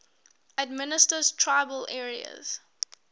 administered tribal areas